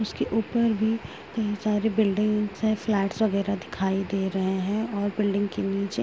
इसके ऊपर भी तीन चार बिल्डिंग्स हैं। फ्लैट्स वगैरह दिखाई दे रहे हैं और बिल्डिंग के नीचे --